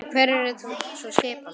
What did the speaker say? En hver yrði sú skipan?